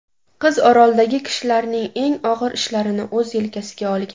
Qiz oroldagi kishilarning eng og‘ir ishlarini o‘z yelkasiga olgan.